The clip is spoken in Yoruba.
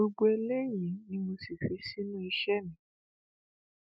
gbogbo eléyìí ni mo sì fi sínú iṣẹ mi